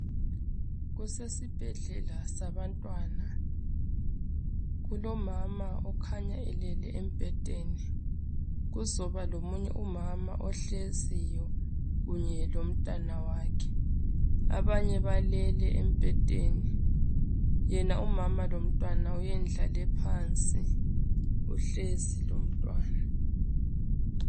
Kusesibhedlela sabantwana . Kulomama okhanya elele embhedeni . Kuzoba lomunye umama ohleziyo kunye lomntwana wakhe. Abanye balele embhedeni. Yena umama lomntwana uyendlale phansi , uhlezi lomntwana.